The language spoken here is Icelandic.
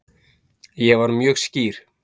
Ég var mjög skýr